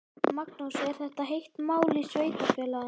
Magnús: Er þetta heitt mál í sveitarfélaginu?